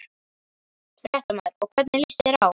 Fréttamaður: Og hvernig líst þér á?